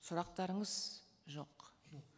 сұрақтарыңыз жоқ